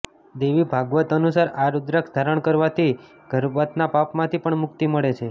દેવી ભાગવત અનુસાર આ રૂદ્રાક્ષ ધારણ કરવાથી ગર્ભપાતના પાપમાંથી પણ મુક્તિ મળે છે